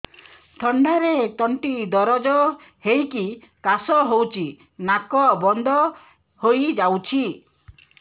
ଥଣ୍ଡାରେ ତଣ୍ଟି ଦରଜ ହେଇକି କାଶ ହଉଚି ନାକ ବନ୍ଦ ହୋଇଯାଉଛି